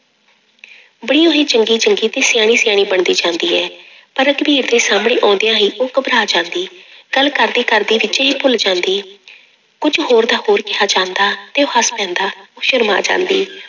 ਚੰਗੀ ਚੰਗੀ ਤੇ ਸਿਆਣੀ ਸਿਆਣੀ ਬਣਦੀ ਜਾਂਦੀ ਹੈ ਪਰ ਰਘਬੀਰ ਦੇ ਸਾਹਮਣੇ ਆਉਂਦਿਆਂ ਹੀ ਉਹ ਘਬਰਾ ਜਾਂਦੀ, ਗੱਲ ਕਰਦੇ ਕਰਦੇ ਵਿਚੇ ਹੀ ਭੁੱਲ ਜਾਂਦੀ ਕੁੱਝ ਹੋਰ ਦਾ ਹੋਰ ਕਿਹਾ ਜਾਂਦਾ ਤੇ ਉਹ ਹੱਸ ਪੈਂਦਾ, ਉਹ ਸ਼ਰਮਾ ਜਾਂਦੀ।